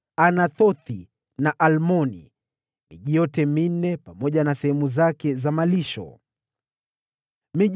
Anathothi na Almoni, pamoja na sehemu zake za malisho, ilikuwa miji minne.